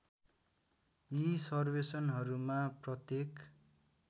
यी सर्वेक्षणहरूमा प्रत्येक